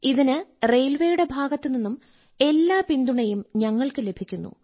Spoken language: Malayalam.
ഇതിന് റെയിൽവേയുടെ ഭാഗത്തുനിന്നും എല്ലാ പിന്തുണയും ഞങ്ങൾക്ക് ലഭിക്കുന്നു